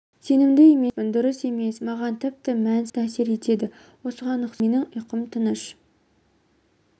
сенімді емеспін дұрыс емес маған тіпті мәнсіз сәтсіздіктер қатты әсер етеді осыған ұқсас менің ұйқым тыныш